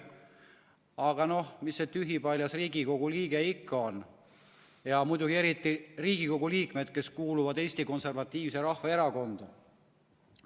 Aga noh, mis see tühipaljas Riigikogu liige ikka on, ja muidugi eriti Riigikogu liikmed, kes kuuluvad Eesti Konservatiivsesse Rahvaerakonda.